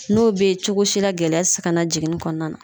N'o be ye cogo si la gɛlɛya te ka na jiginni kɔnɔna na